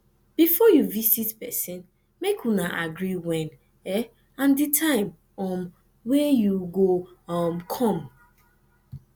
bifor yu visit pesin mek una agree wen and di time um wey yu go um com